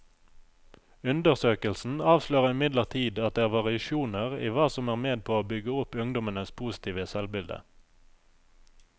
Undersøkelsen avslører imidlertid at det er variasjoner i hva som er med på å bygge opp ungdommenes positive selvbilde.